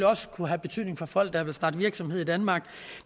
også kunne have betydning for folk der vil starte virksomhed i danmark